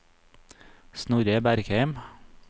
Snorre Bergheim